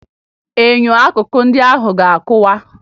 Enyo akụkọ ndị ahụ ga-akụwa